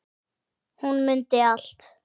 Hún mundi allt.